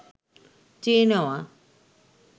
চেয়ে নেওয়া